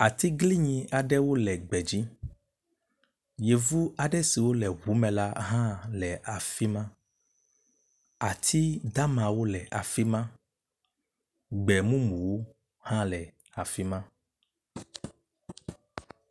Atiglinyi aɖewo le gbe dzi, yevu aɖe siwo le gbe me hã le afi ma. Ati damawo le afi ma. Gbe mumuwo hã le afi ma.